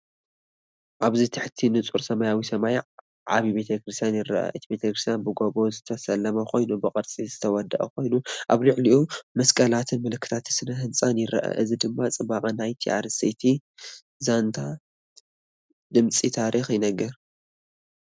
ኣብዚ ትሕቲ ንጹር ሰማያዊ ሰማይ ዓቢ ቤተ ክርስቲያን ይርአ። እቲ ቤተክርስትያን ብጎቦ ዝተሰለመ ኮይኑ ብቅርጺ ዝተወደበ ኮይኑ፡ ኣብ ላዕሊ መስቀላትን ምልክታት ስነ ህንጻን ይርአ። እዚ ድማ ጽባቐ ናይቲ ኣርእስቲ ዛንታ ድምጺ ታሪኽ ይነግር።